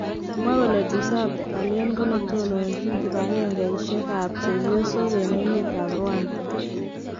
Kimwa kole Dusabe Aliane ko netononjin kibangengeisiek ab chepyosok en emet ab Rwanda.